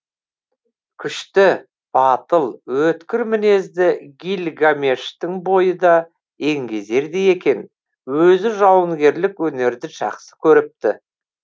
күшті батыл өткір мінезді гильгамештің бойы да еңгезердей екен өзі жауынгерлік өнерді жақсы көріпті